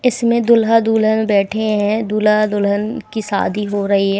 इसमें दूल्हा दुल्हन बैठे हैं दूल्हा दुल्हन की शादी हो रही हैं।